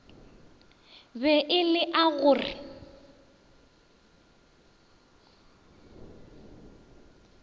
be e lea go re